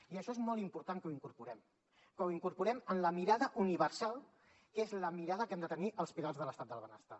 i això és molt important que ho incorporem que ho incorporem en la mirada universal que és la mirada que hem de tenir als pilars de l’estat del benestar